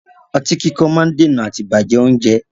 Ọtí kíkan má ń dènà àti bàjẹ́ oúnjẹ.